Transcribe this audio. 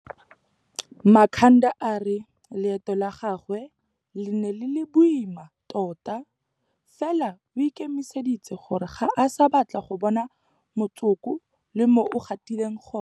Makhanda a re leeto la gagwe le ne le le boima tota, fela o ikemiseditse gore ga a sa batla go bona motsoko le mo o gatileng gone.